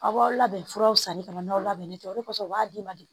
Aw b'aw labɛn furaw sanni ka n'aw labɛnni kɛ o kɔfɛ u b'a d'i ma de